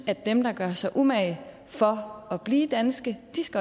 at dem der gør sig umage for at blive danske